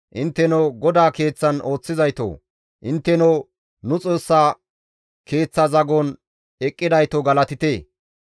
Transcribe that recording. Intteno GODAA Keeththan ooththizaytoo! Intteno nu Xoossa Keeththa zagon eqqidayto galatite!